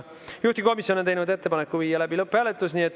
Juhtivkomisjon on teinud ettepaneku viia läbi lõpphääletus.